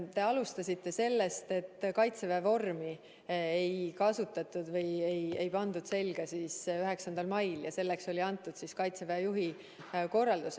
Te alustasite sellest, et Kaitseväe vormi ei pandud 9. mail selga, sest selleks oli antud Kaitseväe juhi korraldus.